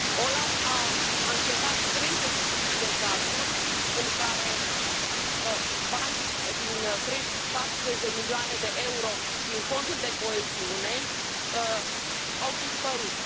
OLAF a anchetat 35 de cazuri în care 40 de milioane de euro din Fondul de coeziune au dispărut.